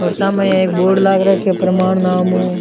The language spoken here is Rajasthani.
और सामे एक बोर्ड लाग राख्यो है प्रणाम नाम हु।